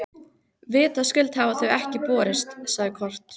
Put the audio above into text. Vitaskuld hafa þau ekki borist, sagði Kort.